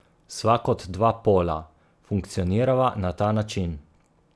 Sva kot dva pola, funkcionirava na ta način.